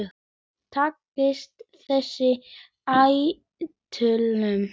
Takist þessi áætlun